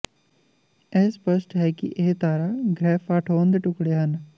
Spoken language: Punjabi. ਇਹ ਸਪੱਸ਼ਟ ਹੈ ਕਿ ਇਹ ਤਾਰਾ ਗ੍ਰਹਿ ਫਾਠੋਨ ਦੇ ਟੁਕੜੇ ਹਨ